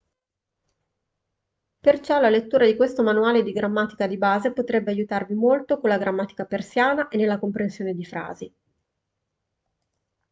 perciò la lettura di questo manuale di grammatica di base potrebbe aiutarvi molto con la grammatica persiana e nella comprensione di frasi